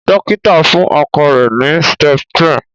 dókítà fún ọkọ rẹ ni septrin